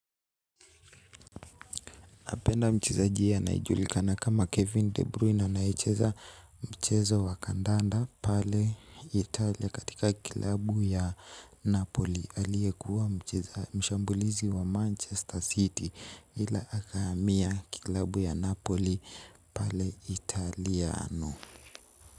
Napenda mchezaji anayejulikana kama Kevin De Bruy anayecheza mchezo wa kandanda pale Italia katika kilabu ya Napoli. Aliekuwa mshambulizi wa Manchester City ila akahamia kilabu ya Napoli pale Italiano.